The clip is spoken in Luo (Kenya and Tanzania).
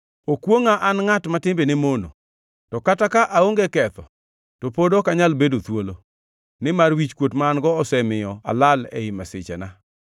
Okwongʼa, an ngʼat ma timbene mono! To kata ka aonge ketho, to pod ok anyal bedo thuolo, nimar wichkuot ma an-go osemiyo alal ei masichena.